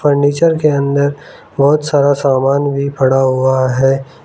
Furniture के अंदर बहोत सारा सामान भी पड़ा हुआ है।